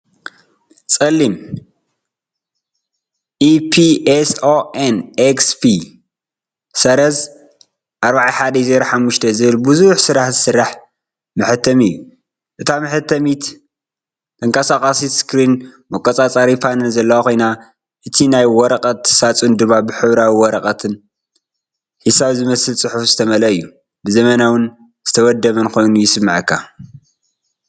ጸሊም "EPSON XP-4105" ዝበሃል ብዙሕ ስራሕ ዝሰርሕ መሕተሚ እዩ። እታ መሕተሚት ተንከስካሲ ስክሪን መቆጻጸሪ ፓነል ዘለዋ ኮይና፡ እቲ ናይ ወረቐት ሳጹን ድማ ብሕብራዊ ወረቐትን ሒሳብ ዝመስል ጽሑፍን ዝተመልአ እዩ። ብ ዘመናውን ዝተወደበን ኮይኑ ይስምዓካ።